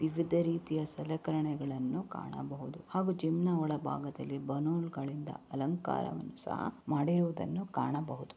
ವಿವಿಧ ರೀತಿಯ ಸಲಕರಣೆಯನ್ನು ಕಾಣಬಹುದು ಹಾಗೂ ಜಿಮ್‌ನ ಒಳಭಾಗದಲ್ಲಿ ಬಲೂನ್ಗಳಿಂದ ಅಲಂಕಾರವನ್ನು ಸಹಾ ಮಾಡಿರುವುದನ್ನು ಕಾಣಬಹುದು.